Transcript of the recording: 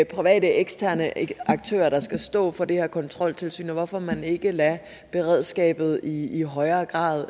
private eksterne aktører der skal stå for det her kontroltilsyn og hvorfor man ikke lader beredskabet i i højere grad